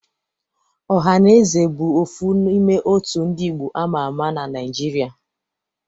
Ohanaeze bụ ofu n'ime òtù ndị Igbo ámá ámá na Naịjirịa.